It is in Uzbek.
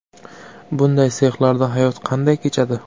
Bunday sexlarda hayot qanday kechadi?